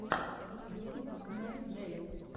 ютуб установи джелли